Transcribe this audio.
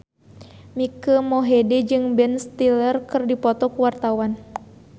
Mike Mohede jeung Ben Stiller keur dipoto ku wartawan